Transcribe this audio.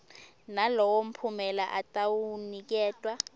nalowo mphumela atawuniketwa